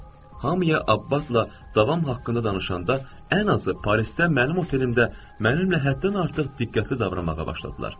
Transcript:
Hamıya Abbasla davam haqqında danışanda ən azı Parisdə mənim otelimdə mənimlə həddən artıq diqqətli davranmağa başladılar.